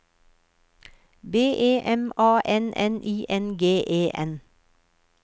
B E M A N N I N G E N